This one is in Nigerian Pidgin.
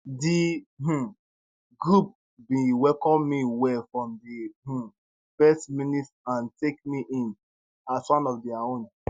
di um group bin welcome me well from di um first minute and take me in as one of dia own